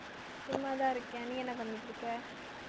சும்மாதான் இருக்கேன் நீ என்ன பண்ணிட்டு இருக்க